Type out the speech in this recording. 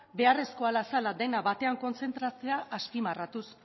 beharrezkoa zela dena batean kontzentratzea azpimarratuz